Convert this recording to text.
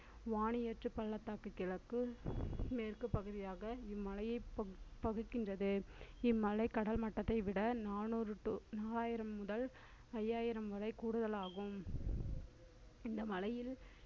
வாணியாற்றுப் பள்ளத்தாக்கு கிழக்கு, மேற்கு பகுதியாக இம்மலையைப் பகுக்~ பகுக்கின்றது இம்மலை கடல்மட்டத்தை விட நானூறு to நாலாயிரம் முதல் ஐயாயிரம் வரை கூடுதலாகும் இந்த மலையில்